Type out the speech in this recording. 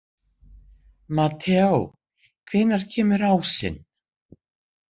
Mateó, hvenær kemur ásinn?